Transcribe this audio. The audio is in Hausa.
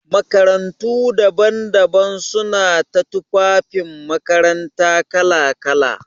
Makarantu daban-daban suna ta tufafin makaranta kala-kala.